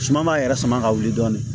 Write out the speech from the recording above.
Suma m'a yɛrɛ sama ka wuli dɔɔni